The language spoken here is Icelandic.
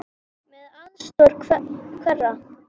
Með aðstoð hverra?